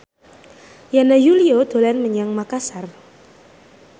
Yana Julio dolan menyang Makasar